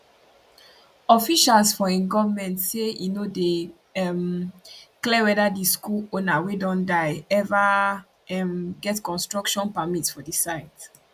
officials for im goment say e no dey um clear weda di school owner wey don die eva um get construction permit for di site